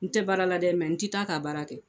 N tɛ baara la dɛ n ti taa'a ka baara kɛ.